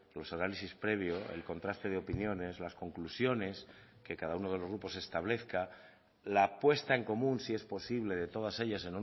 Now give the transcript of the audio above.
los análisis previo el contraste de opiniones las conclusiones que cada uno de los grupos establezca la apuesta en común si es posible de todas ellas